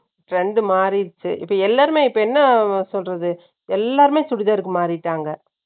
trend மாறிடுச்சு. இப்ப எல்லாருமே, இப்ப என்ன சொல்றது? எல்லாருமே சுடிதாருக்கு, மாறிட்டாங்க